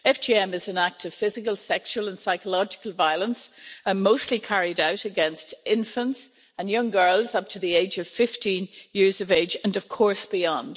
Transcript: FGM is an act of physical, sexual, and psychological violence and mostly carried out against infants and young girls up to the age of 15 years of age, and of course beyond.